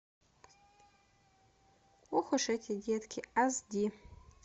ох уж эти детки аш ди